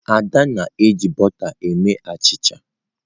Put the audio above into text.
Ada na-eji bọta mee achicha.